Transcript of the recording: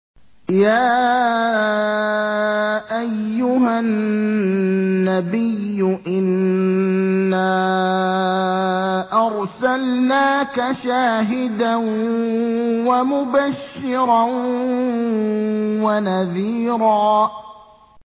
يَا أَيُّهَا النَّبِيُّ إِنَّا أَرْسَلْنَاكَ شَاهِدًا وَمُبَشِّرًا وَنَذِيرًا